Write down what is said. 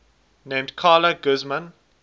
named carla guzman